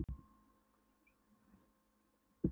Maður kom nú suður til þess að lifa sjálfstæðu lífi.